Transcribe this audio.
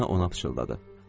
Polina ona pıçıldadı.